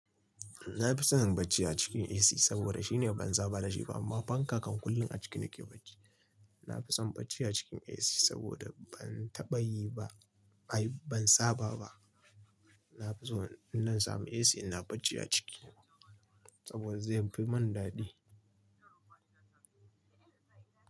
Na fi son bacci a cikin AC saboda shine ban saba da shi ba amma fanka kan kullum a ciki nake bacci. Na fi son bacci a cikin AC saboda ban taɓa yi ba, ai ban saba ba. Na fi so in samu AC ina bacci a ciki saboda zai fi mun daɗi.